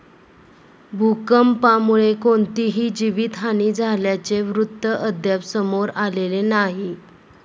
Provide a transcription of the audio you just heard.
भूकंपामुळे कोणतीही जीवितहानी झाल्याचे वृत्त अद्याप समोर आलेले नाही.